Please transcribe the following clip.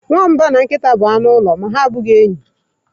Nwamba na nkịta bụ anụ ụlọ ma ha abụghị enyi.